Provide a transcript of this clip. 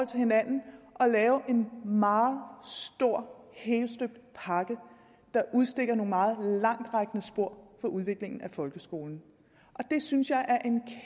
til hinanden at lave en meget stor helstøbt pakke der udstikker nogle meget langtrækkende spor for udviklingen af folkeskolen og det synes jeg er